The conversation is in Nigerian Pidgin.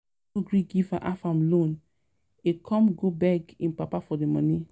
Bank no gree give Afam loan, im come go beg im papa for the money